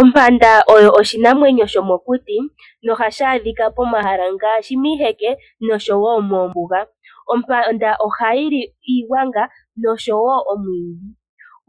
Ompanda oyo oshinamwenyo shomokuti nohashi adhika pomahala ngaashi miiheke noshowo moombuga. Ompanda ohayili iigwanga noshowo omwiidhi.